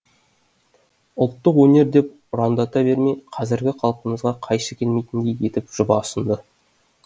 ұлттық өнер деп ұрандата бермей қазіргі қалпымызға қайшы келмейтіндей етіп жоба ұсынды